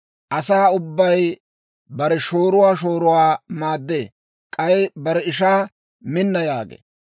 Asaa ubbay bare shooruwaa shooruwaa maaddee; k'ay bare ishaa, «Minna» yaagee.